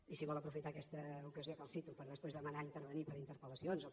i si vol aprofitar aquesta ocasió en què el cito per després demanar intervenir per interpel·lacions o per